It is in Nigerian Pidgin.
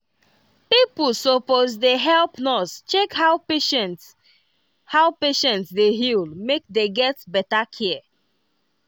pipo suppose dey help nurse check how patient how patient dey heal make dey get better care.